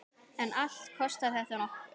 En allt kostar þetta nokkuð.